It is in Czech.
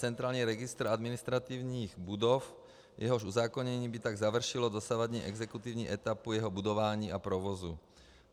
Centrální registr administrativních budov, jehož uzákonění by tak završilo dosavadní exekutivní etapu jeho budování a provozu.